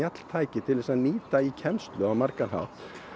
til að nýta í kennslu á margan hátt